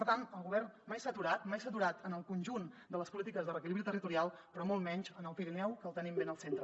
per tant el govern mai s’ha aturat mai s’ha aturat en el conjunt de les polítiques de reequilibri territorial però molt menys en el pirineu que el tenim ben al centre